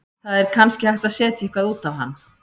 Það er kannski hægt að setja eitthvað út á hann.